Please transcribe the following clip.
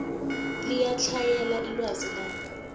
liyatlhayela ilwazi labo